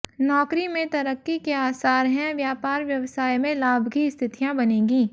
नौकरी में तरक्की के आसार हैं व्यापार व्यवसाय में लाभ की स्थितियां बनेगी